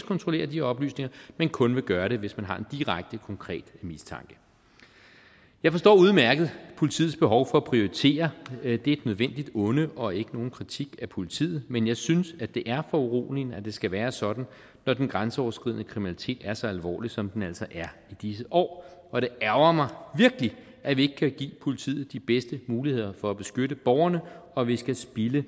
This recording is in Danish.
kontrollere de oplysninger men kun vil gøre det hvis man har en direkte konkret mistanke jeg forstår udmærket politiets behov for at prioritere det er et nødvendigt onde og ikke nogen kritik af politiet men jeg synes at det er foruroligende at det skal være sådan når den grænseoverskridende kriminalitet er så alvorlig som den altså er i disse år og det ærgrer mig virkelig at vi ikke kan give politiet de bedste muligheder for at beskytte borgerne og at vi skal spilde